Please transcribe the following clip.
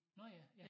Nå ja ja